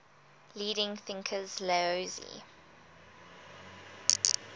leading thinkers laozi